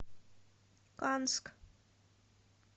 канск